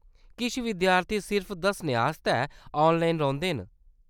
किश विद्यार्थी सिर्फ दस्सने आस्तै ऑनलाइन रौंह्‌‌‌दे न।